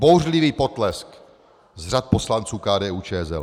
- Bouřlivý potlesk z řad poslanců KDU-ČSL.